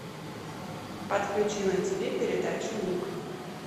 подключи на тв передачу ник